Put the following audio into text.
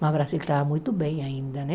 Mas o Brasil estava muito bem ainda, né?